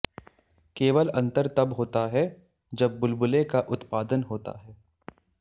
केवल अंतर तब होता है जब बुलबुले का उत्पादन होता है